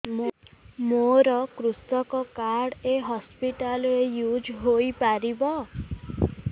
ମୋର କୃଷକ କାର୍ଡ ଏ ହସପିଟାଲ ରେ ୟୁଜ଼ ହୋଇପାରିବ